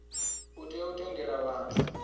u tea u tendela vhathu